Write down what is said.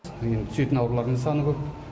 енді түсетін аурулардың саны көп